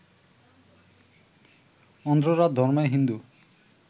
অন্ধ্ররা ধর্মে হিন্দু